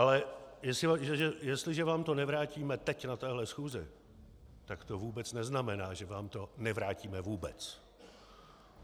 Ale jestliže vám to nevrátíme teď na téhle schůzi, tak to vůbec neznamená, že vám to nevrátíme vůbec.